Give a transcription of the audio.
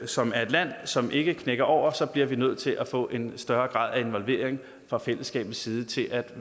som er et land som ikke knækker over så bliver vi nødt til at få en større grad af involvering fra fællesskabets side til at